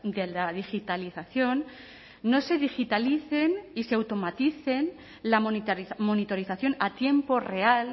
de la digitalización no se digitalicen y se automaticen la monitorización a tiempo real